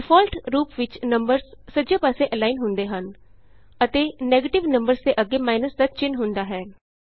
default ਰੂਪ ਵਿਚ numbers ਸੱਜੇ ਪਾਸੇ ਅਲਾਈਨ ਹੁੰਦੇ ਹਨ ਅਤੇ ਨੈਗਟਿਵ ਨੰਬਰਜ਼ ਦੇ ਅੱਗੇ ਮਾਈਨੱਸ ਦਾ ਚਿੰਨ੍ਹ ਹੁੰਦਾ ਹੈ